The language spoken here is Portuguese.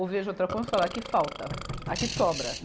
Ou vejo outra conta e falo, aqui falta, aqui sobra.